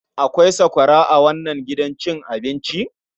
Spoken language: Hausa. Akwai sakwara a wannan gidan cin abinci?